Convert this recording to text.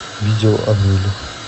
видео амели